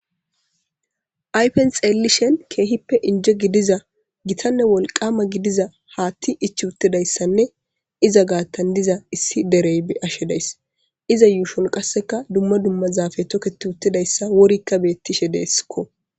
Ayifenni xeelishinn kehippe injje gidizza gitanne Wolqamma gidiza hatti ichchi uttidayissanne izza gatani diza issi dereyi be'ashshe dayiss.izza ushshonni qasekka dumma dumma zaafeyi toketi uttidayissa worikka betishshe desikko.